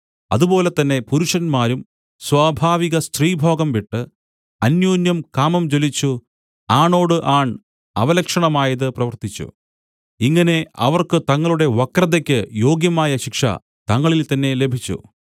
അതുപോലെ തന്നെ പുരുഷന്മാരും സ്വാഭാവികസ്ത്രീഭോഗം വിട്ടു അന്യോന്യം കാമം ജ്വലിച്ചു ആണോട് ആൺ അവലക്ഷണമായത് പ്രവർത്തിച്ചു ഇങ്ങനെ അവർക്ക് തങ്ങളുടെ വക്രതയ്ക്കു യോഗ്യമായ ശിക്ഷ തങ്ങളിൽ തന്നേ ലഭിച്ചു